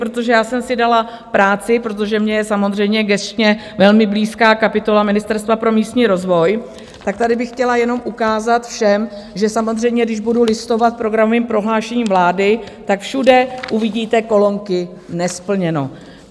Protože já jsem si dala práci, protože mně je samozřejmě gesčně velmi blízká kapitola Ministerstva pro místní rozvoj, tak tady bych chtěla jenom ukázat všem, že samozřejmě když budu listovat programovým prohlášením vlády, tak všude uvidíte kolonky nesplněno.